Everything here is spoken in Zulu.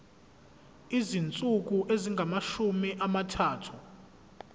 izinsuku ezingamashumi amathathu